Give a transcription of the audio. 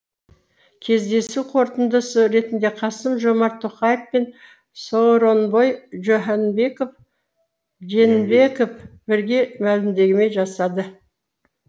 кездесу қорытындысы ретінде қасым жомарт тоқаев пен сооронбай жээнбеков бірге мәлімдеме жасайды